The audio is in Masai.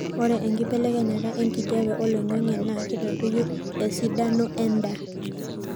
ore enkibelekenyata enkijape oloingangi naa keitadoyio esidano endaa